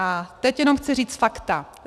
A teď jenom chci říct fakta.